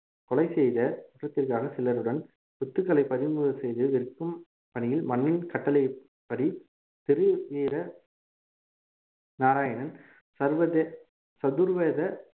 கொலை செய்த குற்றத்திற்காக சிலருடன் சொத்துக்களை பறிமுதல் செய்து விற்கும் பணியில் மன்னன் கட்டளைப்படி திருவீர நாராயணன் சர்வதே~ சதுர்வேத